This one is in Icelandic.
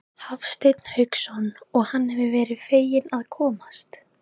Hafsteinn Hauksson: Og hann hefur verið feginn að komast?